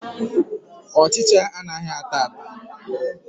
Ọchịcha anaghị ata ata.